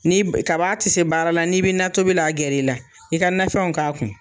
Ni kaba tɛ se baara la n'i bɛ natobi la, a gɛrɛ i la , i ka nafɛnw k'a kun.